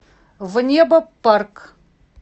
внебопарк